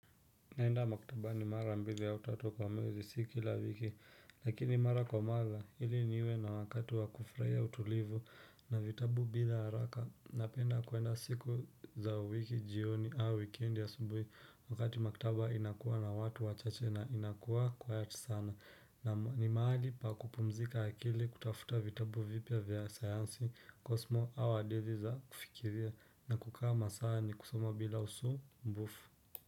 Naenda maktabani mara mbili au tatu kwa mwezi si kila wiki lakini mara kwa mara ili niwe na wakati wa kufurahia utulivu na vitabu bila haraka napenda kuenda siku za wiki jioni au weekend asubuhi wakati maktaba inakuwa na watu wachache na inakuwa quiet sana naam. Ni mahali pa kupumzika akili, kutafuta vitabu vipya vya sayansi, kosmo au hadithi za kufikiria na kukaa masaa yenye kusoma bila usumbufu.